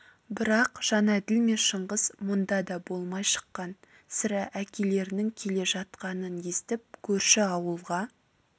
бірақ жәнәділ мен шыңғыс мұнда да болмай шыққан сірә әкелерінің келе жатқанын естіп көрші ауылға